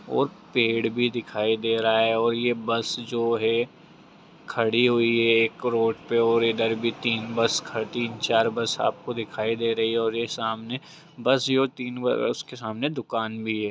और पेड़ भी दिखाई दे रहा है और ये बस जो है खड़ी हुई है एक रोड पे और इधर भी तीन बस ख-तिन चार बस आपको दिखाई दे रही और ये सामने बस जो तीन बस के सामने दुकान भी है।